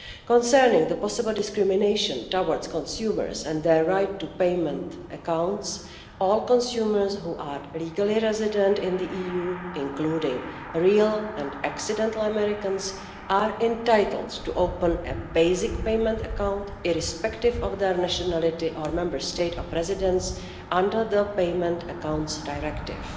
Concerning the possible discrimination towards consumers and their right to payment accounts, all consumers who are legally resident in the EU, including real and accidental Americans, are entitled to open a basic payment account, irrespective of their nationality or Member State of residence, under the Payment Accounts Directive.